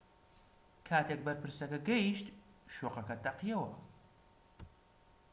کاتێک بەرپرسەکە گەیشت شوقەکە تەقیەوە